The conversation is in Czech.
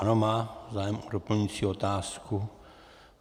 Ano, má zájem o doplňující otázku.